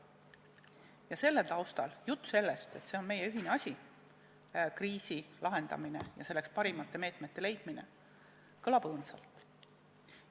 Ja selle taustal jutt, et kriisi lahendamine, selleks parimate meetmete leidmine on meie ühine asi, kõlab õõnsalt.